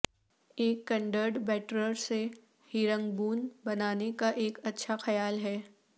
ایک کنڈرڈ بیٹرر سے ہیرنگبون بنانے کا ایک اچھا خیال ہے